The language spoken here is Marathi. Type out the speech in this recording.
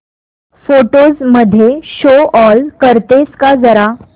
फोटोझ मध्ये शो ऑल करतेस का जरा